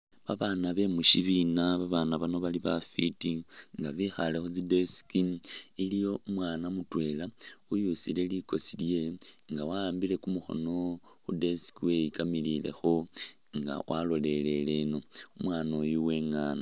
Babaana bemishibina babaana bano bali bafiti nga bekhale khutsi'desk iliwo umwaana mutwela uyusile likoosi lyewe nga wa'ambile kumukhono khu'desk weyikamililekho nga waloleleleno, umwaana oyu uwengana